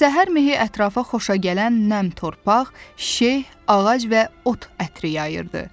Səhər mehi ətrafa xoşagələn nəmtorpaq, şeh, ağac və ot ətri yayırdı.